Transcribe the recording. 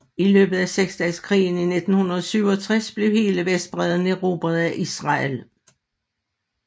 I løbet af seksdageskrigen i 1967 blev hele Vestbredden erobret af Israel